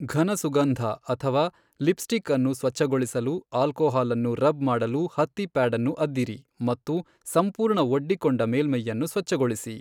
ಘನ ಸುಗಂಧ ಅಥವಾ ಲಿಪ್ಸ್ಟಿಕ್ ಅನ್ನು ಸ್ವಚ್ಛಗೊಳಿಸಲು, ಆಲ್ಕೋಹಾಲ್ ಅನ್ನು ರಬ್ ಮಾಡಲು ಹತ್ತಿ ಪ್ಯಾಡ್ ಅನ್ನು ಅದ್ದಿರಿ ಮತ್ತು ಸಂಪೂರ್ಣ ಒಡ್ಡಿಕೊಂಡ ಮೇಲ್ಮೈಯನ್ನು ಸ್ವಚ್ಛಗೊಳಿಸಿ.